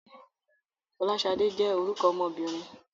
Fọláṣadé jẹ́ orúkọ ọmọbìnrin.